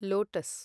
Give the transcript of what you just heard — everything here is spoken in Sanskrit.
लोटस्